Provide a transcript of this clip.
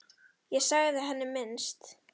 Ég sagði sem minnst.